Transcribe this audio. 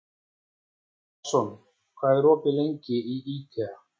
Jason, hvað er opið lengi í IKEA?